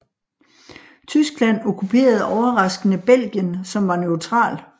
Tyskland okkuperede overraskende Belgien som var neutral